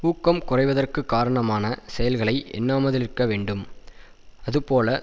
ஊக்கம் குறைவதற்குக் காரணமான செயல்களை எண்ணாமலிருக்க வேண்டும் அதுபோல்